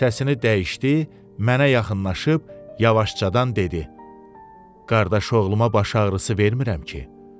Səsini dəyişdi, mənə yaxınlaşıb yavaşcadan dedi: Qardaşoğluma baş ağrısı vermirəm ki?